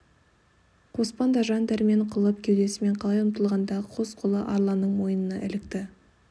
қоспан да жан дәрмен қылып кеудесімен құлай ұмтылғанда қос қолы арланның мойнына ілікті